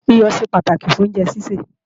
Iyọ̀ ṣe pàtàkì fún oúnjẹ sísè